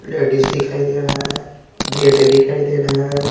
Ladies दिखाई दे रहा है गेट दिखाई दे रहा है।